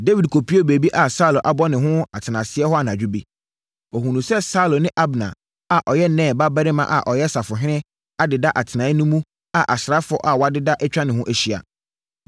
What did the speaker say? Dawid kɔpuee baabi a Saulo abɔ ne ho atenaseɛ hɔ anadwo bi. Ɔhunuu sɛ Saulo ne Abner a ɔyɛ Ner babarima a ɔyɛ safohene adeda atenaeɛ no mu a asraafoɔ a wɔadeda atwa ne ho ahyia.